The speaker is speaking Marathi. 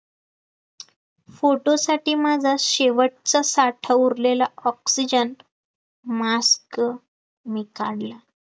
photo साठी माझा शेवटचा साठा उरलेला oxygen mask मी काढला